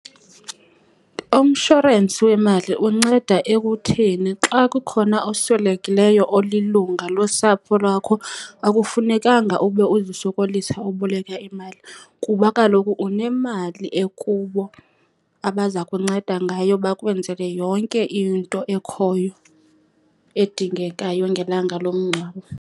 Umshorensi wemali unceda ekutheni xa kukhona oswelekileyo olilunga losapho lwakho, akufunekanga ube uzisokolisa uboleka imali. Kuba kaloku unemali ekubo abaza kunceda ngayo bakwenzele yonke into ekhoyo edingekayo ngelanga lomngcwabo.